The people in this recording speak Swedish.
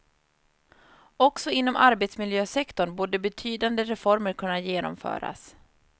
Också inom arbetsmiljösektorn borde betydande reformer kunna genomföras.